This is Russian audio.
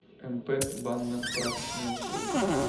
мп банно прачечные услуги